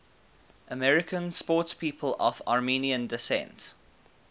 american sportspeople of armenian descent